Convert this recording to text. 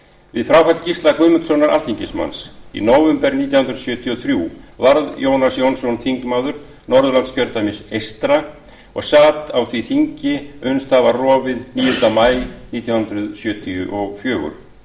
við fráfall gísla guðmundssonar alþingismanns í nóvember nítján hundruð sjötíu og þrjú varð jónas jónsson þingmaður norðurlandskjördæmis eystra og sat á því þingi uns það var rofið níunda maí nítján hundruð sjötíu og fjögur